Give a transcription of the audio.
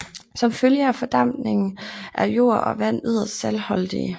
Som følge af fordampning er jord og vand yderst saltholdige